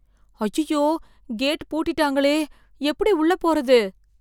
அய்யய்யோ கேட் பூட்டிட்டாங்களே எப்படி உள்ள போறது?